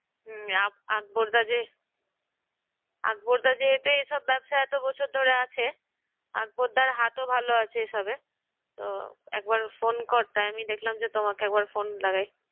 হুম। আকবরদা যে আকবরদা যে এতে এসব ব্যবসায় এতো বছর ধরে আছে আকবরদের হাতও ভালো আছে এসবে। তো একবার phone কর। তা আমি দেখলাম যে তোমাকে একবার phone লাগাই।